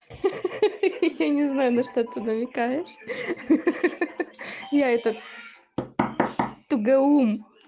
ха-ха я не знаю на что ты намекаешь ха-ха я это туго ум